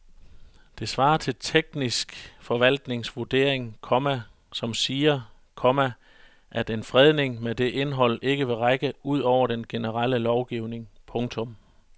Det svarer til teknisk forvaltnings vurdering, komma som siger, komma at en fredning med det indhold ikke vil række ud over den generelle lovgivning. punktum